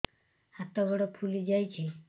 ହାତ ଗୋଡ଼ ଫୁଲି ଯାଉଛି